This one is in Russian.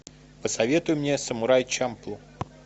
посоветуй мне самурай чамплу